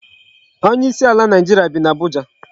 Onye isi ala Naịjirịa bi n'Abuja.